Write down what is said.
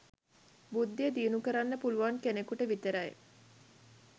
බුද්ධිය දියුණු කරන්න පුළුවන් කෙනෙකුට විතරයි.